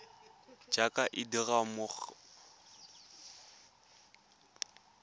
jaaka e dirwa mo go